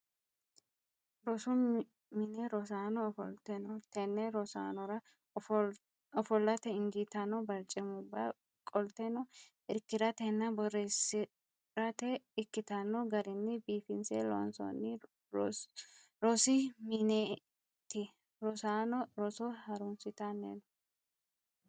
Rosu mine rosaano ofolte no. Tenne rosaanora ofollate injiitanno barcimubba qolteno irkiratenna borreessirate ikkitanno garinni biifinse loonsoonni rosi mineeti rosaanono roso harunsitanni no.